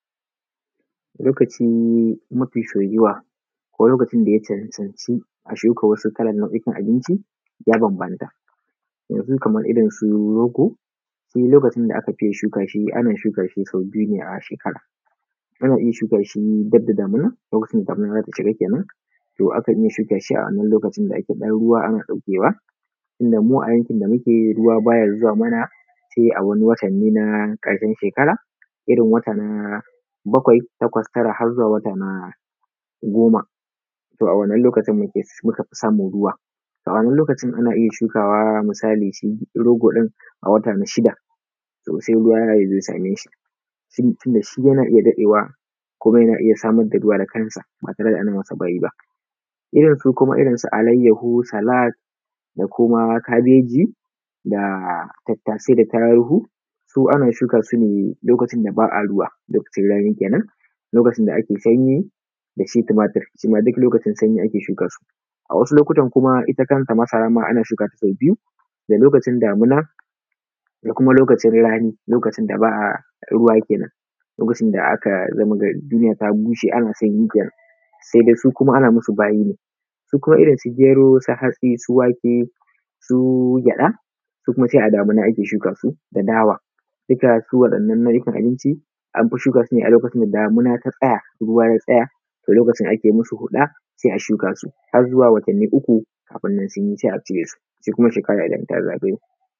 Lokaci mafi soyuwa ko lokacin da ya cancanci a shuka wasu kalan nau’ukan abinci da ya bambanta. Yanzu kamar irinsu rogo, shi lokacin da aka fiye shuka shi ana shuka shi sau biyu ne a shekara, ana iya shuka shi gab da damina, lokacin da damina za ta shiga kenan, akan iya shuka shi a lokacin da akan yi ɗan ruwa ana ɗauke wa. Tunda mu a yankin da muke ruwa ba ya zuwa mana sai a wani watan na ƙarshen shekara, irin wata na bakwai, takwas na tara har zuwa wata na goma, to a wannan lokacin ne muka fi samun ruwa. A wannan lokacin ana iya shukawa misali shi rogo ɗin a wata na shida, to sai ruwa ya zo ya same shi. Tun da shi yana iya daɗewa kuma yana iya samar da ruwa da kansa, ba tare da ana masa bayi ba. Kuma irinsu alayyaho, salad da kabeji da tattasai da taruhu, su ana shuka su ne lokacin da ba a ruwa, lokacin rani kenan, lokacin da ake sanyi, da shi tumatir, shima duk lokacin sanyi ake shuka su. A wasu lokutan kuma ita kanta masara ma ana shuka shi sau biyu, da lokacin damina da kuma lokacin rani, lokacin da ba ruwa kenan, lokacin da aka ga duniya ta bushe ana sanyi kenan, sai dai su kuma ana masu bayi ne. Su kuma irinsu gero, su hatsi, su wake, su gyaɗa, su kuma sai a damina ake shuka su da dawa, duka su waɗannan nau’ukan abinci anfi shuka su ne a lokacin da damina ta tsaya, ruwa ya tsaya, to lokacin ake musu huɗa, sai a shuka su har zuwa watanni uu kafin nan sun yi sai a cire su sai kuma shekara idan ta zagayo.